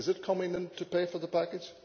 Is it coming in to pay for the package?